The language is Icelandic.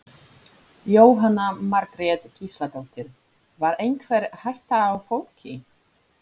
Jóhanna Margrét Gísladóttir: Var einhver hætta á fólki?